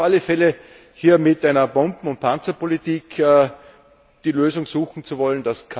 Ich warne auf alle Fälle, hier mit einer Bomben und Panzerpolitik die Lösung suchen zu wollen.